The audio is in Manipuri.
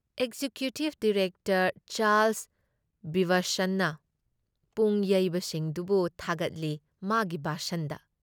ꯑꯦꯛꯖꯤꯀ꯭ꯌꯨꯇꯤꯕ ꯗꯥꯏꯔꯦꯛꯇꯔ ꯆꯥꯔꯜꯁ ꯒꯤꯚꯁꯟꯅ ꯄꯨꯡ ꯌꯩꯕꯁꯤꯡꯗꯨꯕꯨ ꯊꯥꯒꯠꯂꯤ ꯃꯥꯒꯤ ꯚꯥꯁꯟꯗ ꯫